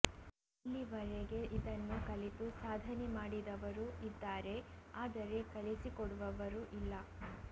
ಇಲ್ಲಿವರೆಗೆ ಇದನ್ನು ಕಲಿತು ಸಾಧನೆ ಮಾಡಿದವರು ಇದ್ದಾರೆ ಆದರೆ ಕಲಿಸಿ ಕೊಡುವವರು ಇಲ್ಲ